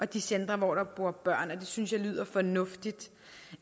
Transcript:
de centre hvor der bor børn det synes jeg lyder fornuftigt